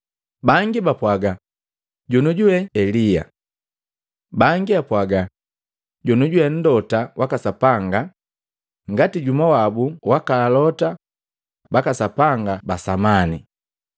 Bangi, bapwaga, “Jonioju we Elia.” Bangi apwaga, “Jonioju we Mlota waka Sapanga ngati jumwa wabu waka Alota baka Sapanga ba samani.”